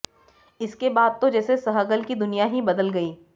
इसके बाद तो जैसे सहगल की दुनिया ही बदल गई